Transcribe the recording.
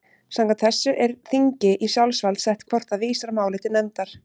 Samkvæmt þessu er þingi í sjálfsvald sett hvort það vísar máli til nefndar.